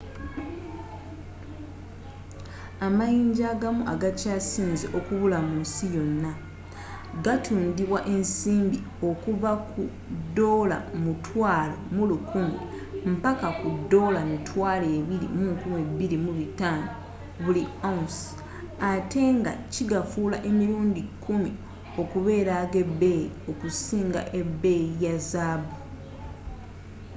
amayinja agamu agakya sinze okubula mu nsi yonna gatundibwa esimbi okuvva ku us$11,000 mpaka ku $22500 buli ounce atte nga kigafuula emirundi kumi okubeera ag’ebeeyi okusinga ebeeyi ya zaabu